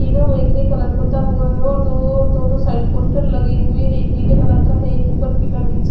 दोनों side poster लगे हुए है एक नीले कलर का है एक उपर पीला निचे--